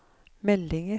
meldinger